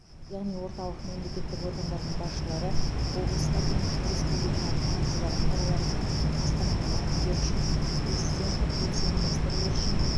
яғни орталық мемлекеттік органдардың басшылары облыстардың республикалық маңызы бар қалалар мен астананың әкімдері үшін президент вице министрлер үшін